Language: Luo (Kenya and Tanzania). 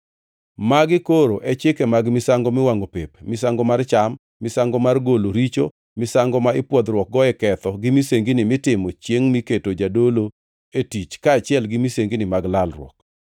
Magi koro e chike mag misango miwangʼo pep, misango mar cham, misango mar golo richo, misango ma ipwodhruokgo e ketho gi misengini mitimo chiengʼ miketo jadolo e tich kaachiel gi misengini mag lalruok.